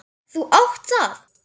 Þú átt það!